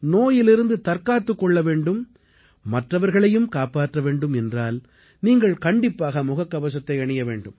நோயிலிருந்து தற்காத்துக் கொள்ள வேண்டும் மற்றவர்களையும் காப்பாற்ற வேண்டும் என்றால் நீங்கள் கண்டிப்பாக முகக்கவசத்தை அணிய வேண்டும்